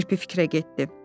Kirpi fikrə getdi.